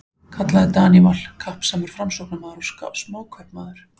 kallaði Daníval, kappsamur Framsóknarmaður og smákaupmaður.